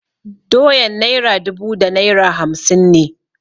Doyan naira dubu da naira hamsin ne.